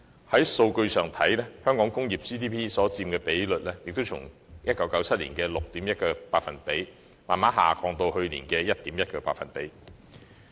在數據上，香港工業所佔 GDP 比例亦從1997年的 6.1%， 逐步下降至去年的 1.1%。